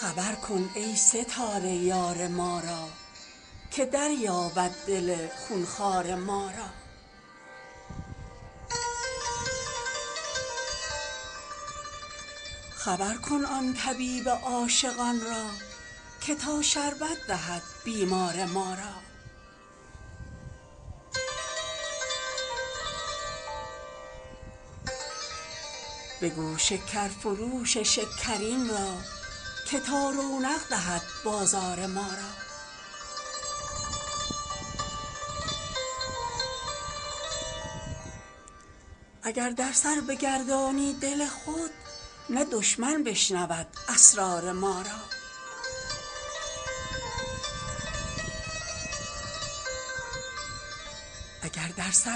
خبر کن ای ستاره یار ما را که دریابد دل خون خوار ما را خبر کن آن طبیب عاشقان را که تا شربت دهد بیمار ما را بگو شکرفروش شکرین را که تا رونق دهد بازار ما را اگر در سر بگردانی دل خود نه دشمن بشنود اسرار ما را پس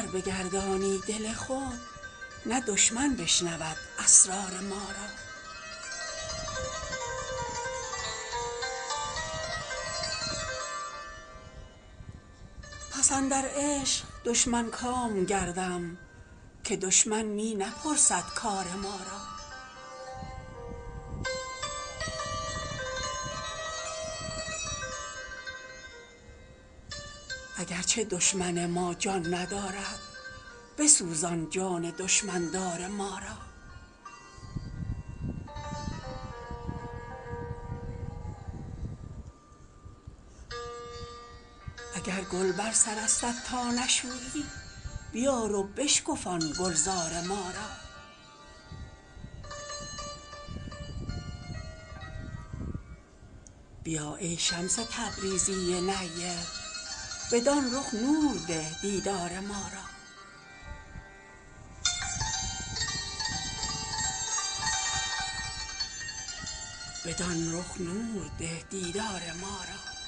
اندر عشق دشمن کام گردم که دشمن می نپرسد کار ما را اگر چه دشمن ما جان ندارد بسوزان جان دشمن دار ما را اگر گل بر سرستت تا نشویی بیار و بشکفان گلزار ما را بیا ای شمس تبریزی نیر بدان رخ نور ده دیدار ما را